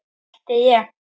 mælti ég.